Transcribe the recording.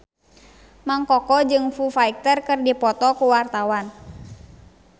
Mang Koko jeung Foo Fighter keur dipoto ku wartawan